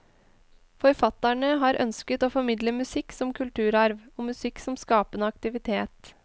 Forfatterne har ønsket å formidle musikk som kulturarv, og musikk som skapende aktivitet.